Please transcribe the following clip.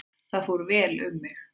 Þar fór vel um mig.